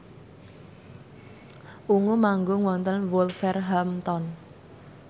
Ungu manggung wonten Wolverhampton